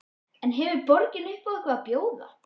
En hefur borgin upp á eitthvað að bjóða?